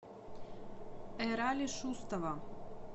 эрали шустова